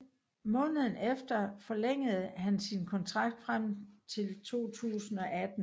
Måneden efter forlængede han sin kontrakt frem til 2018